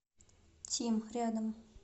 тим рядом